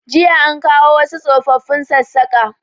Jiya an kawo wasu tsofafin Sassaƙa